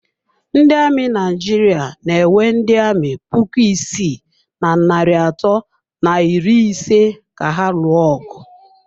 Ndị amị Naijiria na-ewe ndị amị puku isii na narị atọ na iri ise ka ha lụọ ọgụ.